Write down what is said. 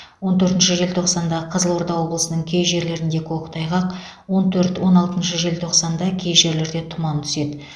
он төртінші желтоқсанда қызылорда облысының кей жерлерінде көктайғақ он төрт он алтыншы желтоқсанда кей жерлерде тұман түседі